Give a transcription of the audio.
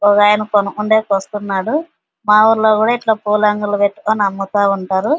ఒక ఆయినా కొనుకొండెకి వస్తున్నాడు మా ఊర్లో కూడా ఇట్లా పూల అంగడిలు పెట్టుకుని అమ్ముతా ఉంటారు --